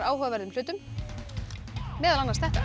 áhugaverðum hlutum meðal annars þetta